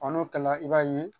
n'o kɛla i b'a ye